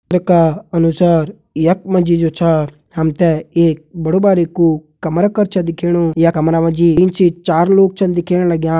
चित्र का अनुसार यख मा जी जु छा हम ते एक बड़ु बारिकु कमरा कर छ दिखेणु ये कमरा मा जी तीन से चार लोग छन दिखेण लग्यां।